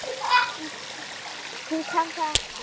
Hún kann það ekki.